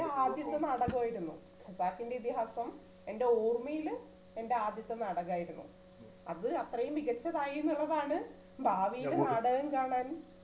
എൻറെ ആദ്യത്തെ നാടകായിരുന്നു ഖസാക്കിന്റെ ഇതിഹാസം എൻറെ ഓർമ്മയില് എൻറെ ആദ്യത്തെ നാടകായിരുന്നു അത് അത്രയും മികച്ചതായി എന്നുള്ളതാണ് ഭാവിയില് നാടകം കാണാൻ